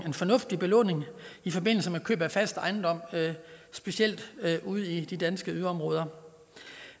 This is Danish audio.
en fornuftig belåning i forbindelse med køb af fast ejendom specielt ude i de danske yderområder